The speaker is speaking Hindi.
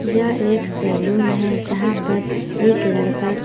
यह एक सैलून है जहाँ पर एक लड़का--